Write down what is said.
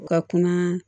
U ka kuma